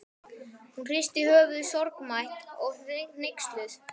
Hún hristi höfuðið sorgmædd og hneyksluð.